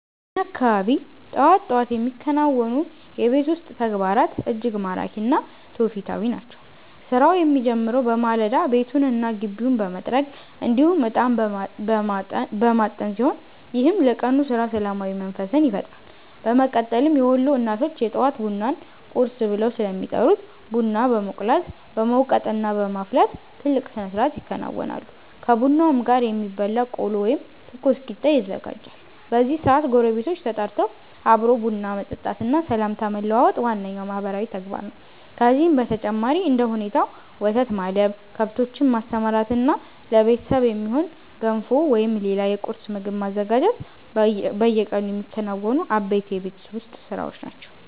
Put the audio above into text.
በእኛ አካባቢ ጠዋት ጠዋት የሚከናወኑ የቤት ውስጥ ተግባራት እጅግ ማራኪ እና ትውፊታዊ ናቸው። ስራው የሚጀምረው በማለዳ ቤቱንና ግቢውን በመጥረግ እንዲሁም እጣን በማጠን ሲሆን፣ ይህም ለቀኑ ስራ ሰላማዊ መንፈስን ይፈጥራል። በመቀጠልም የወሎ እናቶች የጠዋት ቡናን 'ቁርስ' ብለው ስለሚጠሩት ቡና በመቁላት፣ በመውቀጥና በማፍላት ትልቅ ስነስርዓት ያከናውናሉ። ከቡናውም ጋር የሚበላ ቆሎ ወይም ትኩስ ቂጣ ይዘጋጃል። በዚህ ሰዓት ጎረቤቶች ተጠርተው አብሮ ቡና መጠጣትና ሰላምታ መለዋወጥ ዋነኛው ማህበራዊ ተግባር ነው። ከዚህም በተጨማሪ እንደ ሁኔታው ወተት ማለብ፣ ከብቶችን ማሰማራትና ለቤተሰብ የሚሆን ገንፎ ወይም ሌላ የቁርስ ምግብ ማዘጋጀት በየቀኑ የሚከናወኑ አበይት የቤት ውስጥ ስራዎች ናቸው።